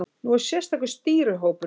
Nú sér sérstakur stýrihópur um verkefnið.